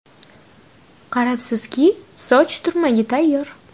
Qarabsizki, soch turmagi tayyor.